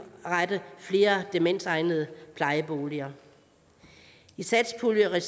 flere demensegnede plejeboliger i satspuljeregi